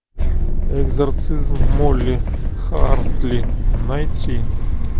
экзорцизм молли хартли найти